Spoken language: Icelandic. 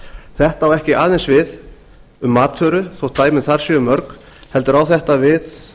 þetta á ekki aðeins við um matvöru þótt dæmin þar séu mörg heldur á þetta við